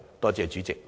多謝主席。